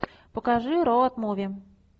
покажи роуд муви